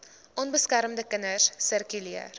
onbeskermde kinders sirkuleer